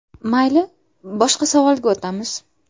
Mayli, boshqa savolga o‘tamiz.